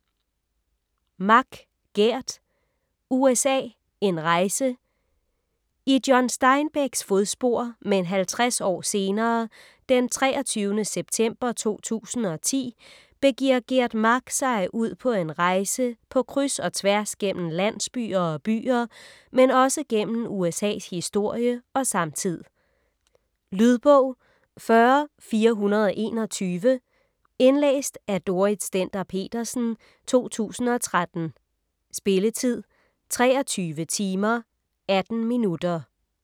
Mak, Geert: USA: en rejse I John Steinbecks fodspor, men 50 år senere, den 23. september 2010, begiver Geert Maak sig ud på en rejse på kryds og tværs gennem landsbyer og byer, men også gennem USA's historie og samtid. Lydbog 40421 Indlæst af Dorrit Stender-Petersen, 2013. Spilletid: 23 timer, 18 minutter.